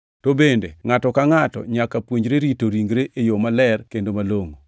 to bende ngʼato ka ngʼato nyaka puonjre rito ringre e yo maler kendo malongʼo,